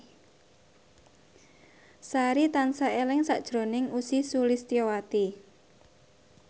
Sari tansah eling sakjroning Ussy Sulistyawati